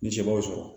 Ni seb'o sɔrɔ